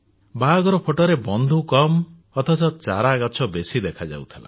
ବାହାଘର ଫଟୋରେ ବନ୍ଧୁ କମ ଚାରା ଗଛ ବେଶୀ ଦେଖାଯାଉଥିଲା